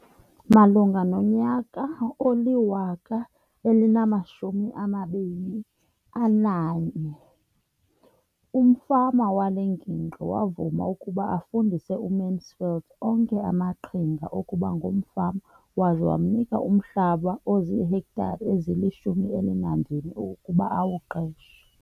Malunga nonyaka wama-2013, umfama wale ngingqi wavuma ukuba afundise uMansfield onke amaqhinga okuba ngumfama waza wamnika umhlaba ozihektare ezili-12 ukuba awuqeshe.